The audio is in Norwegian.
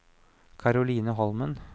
Caroline Holmen